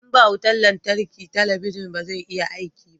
in ba wutan lantarki talabijin ba zai iya aiki ba